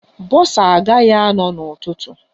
Bọsa agaghi anọ n'ụtụtụ